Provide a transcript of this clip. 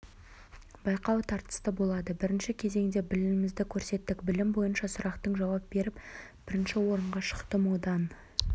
байқау тартысты болды бірінші кезеңде білімімізді көрсеттік білім бойынша сұрақтың жауап беріп бірінші орынға шықтым одан